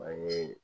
An ye